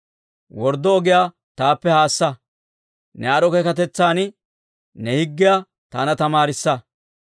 Worddo ogiyaa taappe haassa; ne aad'd'o keekkatetsan ne higgiyaa taana tamaarissa.